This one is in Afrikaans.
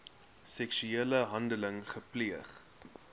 seksuele handeling gepleeg